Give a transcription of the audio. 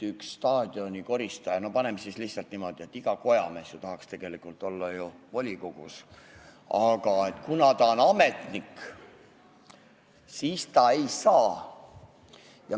Staadioni koristaja või ütleme lihtsalt niimoodi, et iga kojamees ju tahaks tegelikult olla volikogus, aga kuna ta on ametnik, siis ta ei saa seal olla.